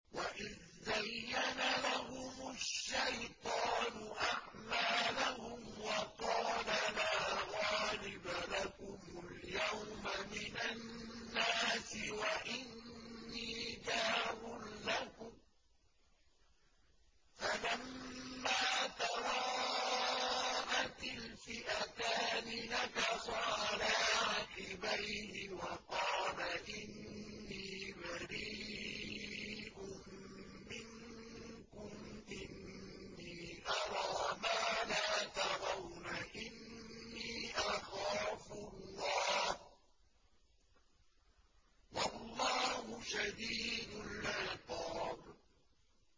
وَإِذْ زَيَّنَ لَهُمُ الشَّيْطَانُ أَعْمَالَهُمْ وَقَالَ لَا غَالِبَ لَكُمُ الْيَوْمَ مِنَ النَّاسِ وَإِنِّي جَارٌ لَّكُمْ ۖ فَلَمَّا تَرَاءَتِ الْفِئَتَانِ نَكَصَ عَلَىٰ عَقِبَيْهِ وَقَالَ إِنِّي بَرِيءٌ مِّنكُمْ إِنِّي أَرَىٰ مَا لَا تَرَوْنَ إِنِّي أَخَافُ اللَّهَ ۚ وَاللَّهُ شَدِيدُ الْعِقَابِ